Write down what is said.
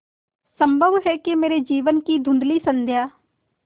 संभव है कि मेरे जीवन की धँुधली संध्या